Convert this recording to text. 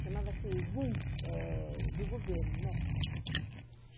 Chamava-se GUM, eh do governo, né?